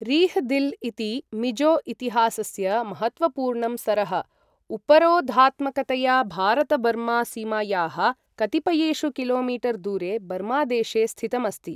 रिह् दिल् इति मिजो इतिहासस्य महत्त्वपूर्णं सरः उपरोधात्मकतया भारत बर्मा सीमायाः कतिपयेषु किलोमीटर् दूरे बर्मा देशे स्थितम् अस्ति।